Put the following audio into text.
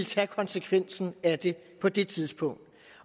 tage konsekvensen af det på det tidspunkt